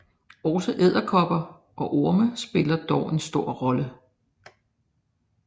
Også edderkopper og orme spiller dog en stor rolle